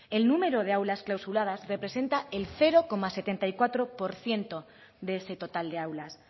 el número de aulas clausuradas representa el cero coma setenta y cuatro por ciento de ese total de aulas